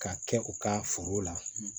K'a kɛ u ka foro la